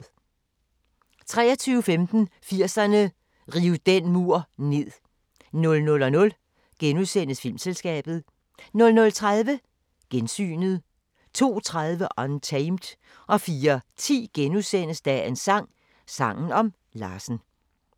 23:15: 80'erne: Riv den mur ned 00:00: Filmselskabet * 00:30: Gensynet 02:30: Untamed 04:10: Dagens sang: Sangen om Larsen *